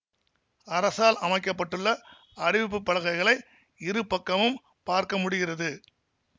அரசால் அமைக்க பட்டுள்ள அறிவிப்புப் பலகைகளை இரு பக்கமும் பார்க்க முடிகிறது